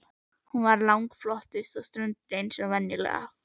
Hún var langflottust á ströndinni eins og venjulega.